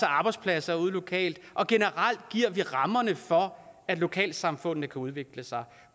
arbejdspladser ude lokalt og generelt giver vi rammerne for at lokalsamfundene kan udvikle sig